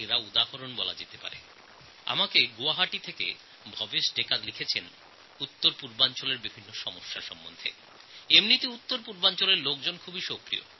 উত্তরপূর্ব ভারতের বিষয়ে গুয়াহাটির ভবেশ ডেকা আমাকে লিখেছেন যে এমনিতে উত্তরপূর্ব ভারতের লোকের কাজকর্মে খুবই সক্রিয়